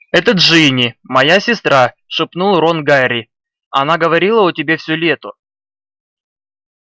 это джинни моя сестра шепнул рон гарри она говорила о тебе всё лето